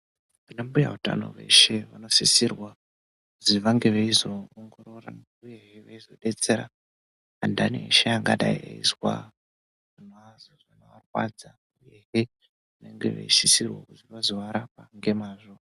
Ana mbuya utano veshe vanosisirwa kuti vange veizoongorora uye he vange veizodetsera andani eshe angadai eizwa zvinovarwadza uyehe vanosisirwa kuti vazovarapa nemazvo.